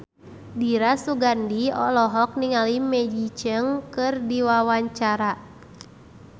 Dira Sugandi olohok ningali Maggie Cheung keur diwawancara